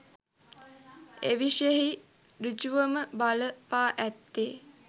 එවිෂයෙහි සෘජුවම බල පා ඇත්තේ